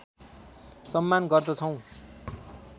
सम्मान गर्दछौँ